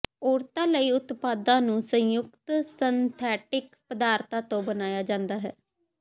ਔਰਤਾਂ ਲਈ ਉਤਪਾਦਾਂ ਨੂੰ ਸੰਯੁਕਤ ਸਿੰਥੈਟਿਕ ਪਦਾਰਥਾਂ ਤੋਂ ਬਣਾਇਆ ਜਾਂਦਾ ਹੈ